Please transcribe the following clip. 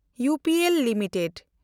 UPL limited